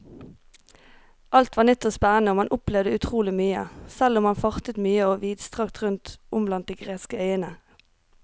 Alt var nytt og spennende og man opplevde utrolig mye, selv om man fartet mye og vidstrakt rundt om blant de greske øyene.